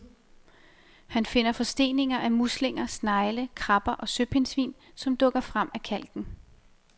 Han finder forsteninger af muslinger, snegle, krabber og søpindsvin, som dukker frem af kalken.